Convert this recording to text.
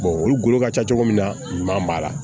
olu golo ka ca cogo min na ɲuman b'a la